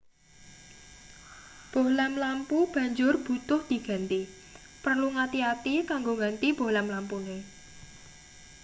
bohlam lampu banjur butuh diganti perlu ngati-ati kanggo ngganti bohlam lampune